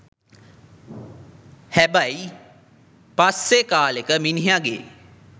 හැබයි පස්සෙ කාලෙක මිනිහගෙ